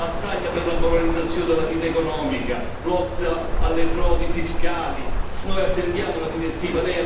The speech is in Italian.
Serve una battaglia per la moralizzazione della vita economica, la lotta alle frodi fiscali, noi attendiamo la direttiva